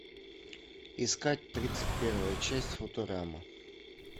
искать тридцать первая часть футурама